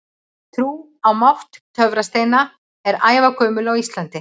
Trú á mátt töfrasteina er ævagömul á Íslandi.